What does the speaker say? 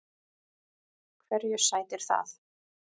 Hverju sætir það?